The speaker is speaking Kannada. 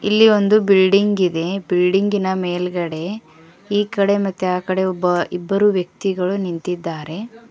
ಇಲ್ಲಿ ಒಂದು ಬಿಲ್ಡಿಂಗ್ ಇದೆ ಬಿಲ್ಡಿಂಗಿನ ಮೇಲ್ಗಡೆ ಈ ಕಡೆ ಮತ್ತೆ ಆ ಕಡೆ ಒಬ್ಬ ಇಬ್ಬರು ವ್ಯಕ್ತಿಗಳು ನಿಂತಿದ್ದಾರೆ.